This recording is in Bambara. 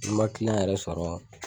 Ni n ma kiliyan yɛrɛ sɔrɔ